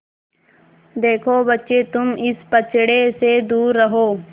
देखो बच्चे तुम इस पचड़े से दूर रहो